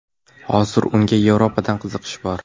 Hozir unga Yevropadan qiziqish bor.